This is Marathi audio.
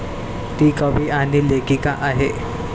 ती कवी आणि लेखिका आहे.